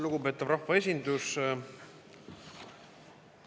Lugupeetav rahvaesindus!